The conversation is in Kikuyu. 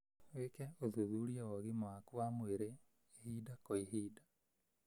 wĩke ũthuthuria wa ũgima waku wa mwĩrĩ ihinda kwa ihinda